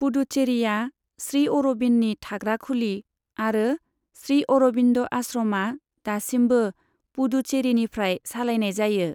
पुडुचेरीआ श्री अरबिन्दनि थाग्रा खुलि आरो श्री अरबिन्द आश्रमआ दासिमबो पुडुचेरीनिफ्राय सालायनाय जायो।